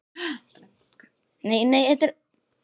Hann kallar til okkar.